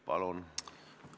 Palun!